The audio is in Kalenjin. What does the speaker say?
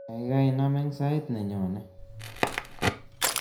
Kaikai nam eng sait nenyone